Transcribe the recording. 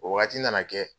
O wagati nana kɛ